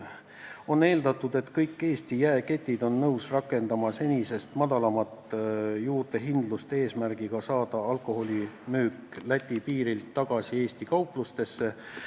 On eeldatud, et kõik Eesti jaeketid on nõus rakendama senisest väiksemat juurdehindlust, et alkoholi ostjad Läti piiri taha sõitmise asemel Eesti kauplustesse tuleksid.